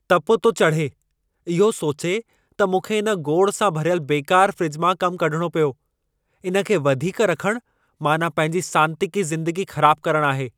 तपु थो चढ़े इहो सोचे त मूंखे इन गोड़ सां भरियल बेकारु फ्रिज मां कम कढणो पियो। इन खे वधीक रखण माना पंहिंजी सांतीकी ज़िंदगी ख़राबु करणु आहे!